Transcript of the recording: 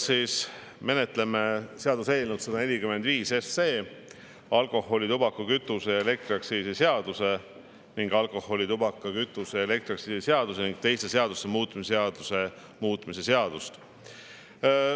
Me menetleme jätkuvalt seaduseelnõu 145, alkoholi-, tubaka-, kütuse- ja elektriaktsiisi seaduse ning alkoholi-, tubaka-, kütuse- ja elektriaktsiisi seaduse ning teiste seaduste muutmise seaduse muutmise seadust.